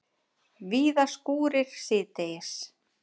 Víða skúrir síðdegis